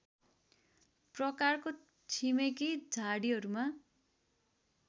प्रकारको छिमेकी झाडीहरूमा